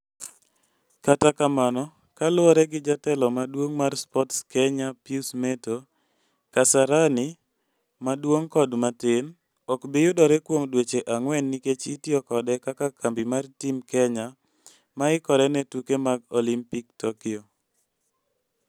Kata kamano kaluwore gi Jatelo maduong' mar Sports Kenya Pius Metto, Kasarani (maduong' kod matin) ok bi yudore kuom dweche ang'wen nikech itiyo kode kaka kambi mar Team Kenya ma ikore ne tuke mag Olimpik Tokyo.